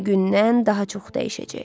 Günü-gündən daha çox dəyişəcək.